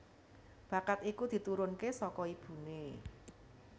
Bakat iku diturunke saka ibuné